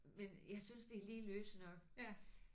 Men jeg synes de er lige løse nok